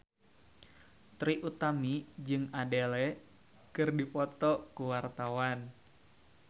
Trie Utami jeung Adele keur dipoto ku wartawan